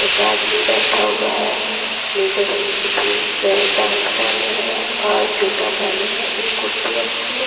एक आदमी बैठा हुआ है नीले रंग की जींस में पैंट पहने है और जूता पहने है एक कुर्सी रखी है।